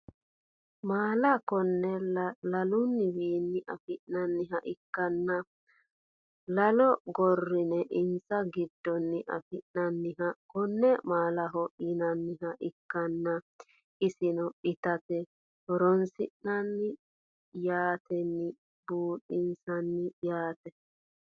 Maala konneaala laluniwiini afinaniha ikanna lalo gorine insa gidoni afinaniha konne maalaho yinaniha ikanna isino itate horonsinani yaateni buuxinsani yaate